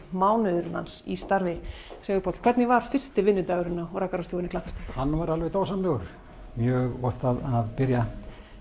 mánuðurinn hans í starfi Sigurpáll hvernig var fyrsti vinnudagurinn á rakarastofunni Klapparstíg hann var alveg dásamlegur mjög gott að byrja